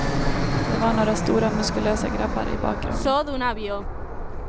Det var några stora, muskulösa grabbar i bakgrunden.